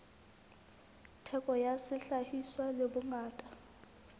theko ya sehlahiswa le bongata